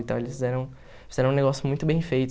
Então eles fizeram fizeram um negócio muito bem feito.